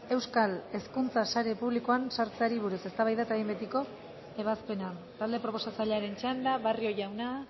euskal hezkuntza sare publikoan sartzeari buruz eztabaida eta behin betiko ebazpena talde proposatzailearen txanda barrio jauna